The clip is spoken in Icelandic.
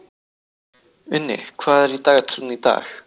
Uni, hvað er í dagatalinu í dag?